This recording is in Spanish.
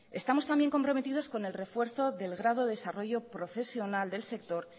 estamos también comprometidos con el refuerzo del grado de desarrollo profesional del sector